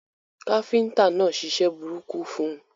Káfíntà náà ṣiṣẹ́ burúkú fun